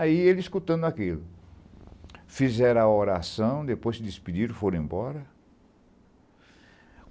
Aí ele escutando aquilo, fizeram a oração, depois se despediram, foram embora.